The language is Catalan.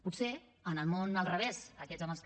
potser en el món al revés aquests amb els que